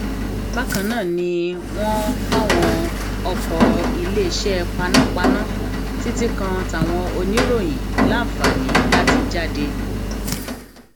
bákan náà ni wọn fàwọn ọkọ iléeṣẹ panápaná títí kan táwọn oníròyìn láǹfààní láti jáde